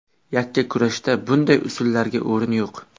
Yakkakurashda bunday usullarga o‘rin yo‘q.